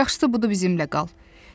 Yaxşısı budur bizimlə qal.